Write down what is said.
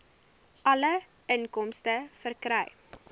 alle inkomste verkry